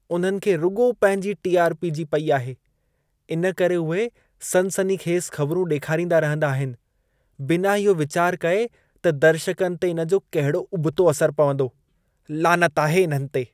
उन्हनि खे रुॻो पंहिंजी टी.आर.पी. जी पई आहे। इन करे उहे सनसनीखेज़ ख़बिरूं ॾेखारींदा रहंदा आहिन। बिना इहो वीचार कए त दर्शकनि ते इन जो कहिड़ो उबतो असर पवंदो। लानत आहे इन्हनि ते! (माण्हू 1)